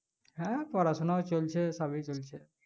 হ্যাঁ পড়াশোনা চলছে ভালোই চলছে